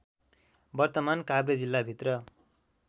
वर्तमान काभ्रे जिल्लाभित्र